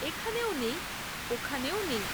এখানেও নেই, ওখানেও নেই৷